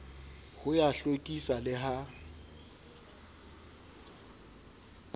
ho ya hlwekisa le ha